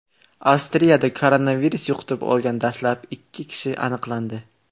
Avstriyada koronavirus yuqtirib olgan dastlabki ikki kishi aniqlandi.